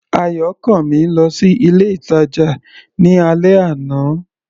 Ayọ̀kànmí lọ sí ilé-ìtàjà ní alẹ́ àná.